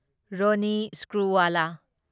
ꯔꯣꯟꯅꯤ ꯁ꯭ꯀ꯭ꯔꯨꯋꯥꯂꯥ